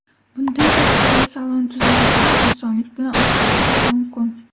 Bundan tashqari, salon tuzilishini osonlik bilan o‘zgartirish mumkin.